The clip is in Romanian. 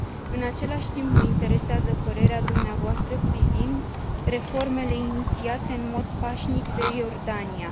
În același timp, mă interesează părerea dumneavoastră privind reformele inițiate în mod pașnic de Iordania.